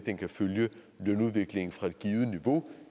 de ting